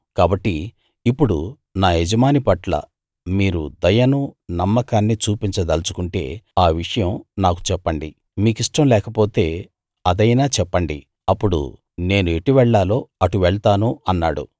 కాబట్టి ఇప్పుడు నా యజమాని పట్ల మీరు దయనూ నమ్మకాన్నీ చూపించ దల్చుకుంటే ఆ విషయం నాకు చెప్పండి మీకిష్టం లేకపోతే అదైనా చెప్పండి అప్పుడు నేనెటు వెళ్ళాలో అటు వెళ్తాను అన్నాడు